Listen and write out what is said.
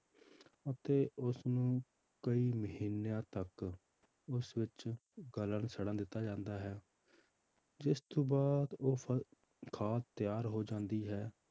ਅਤੇ ਉਸਨੂੰ ਕਈ ਮਹੀਨਿਆਂ ਤੱਕ ਉਸ ਵਿੱਚ ਗਲਣ ਛੜਨ ਦਿੱਤਾ ਜਾਂਦਾ ਹੈ ਜਿਸ ਤੋਂ ਬਾਅਦ ਉਹ ਫ~ ਖਾਦ ਤਿਆਰ ਹੋ ਜਾਂਦੀ ਹੈ।